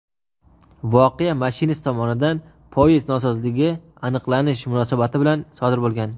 voqea mashinist tomonidan poyezd nosozligini aniqlanish munosabati bilan sodir bo‘lgan.